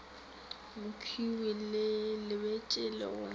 mokhwi ke lebetše le go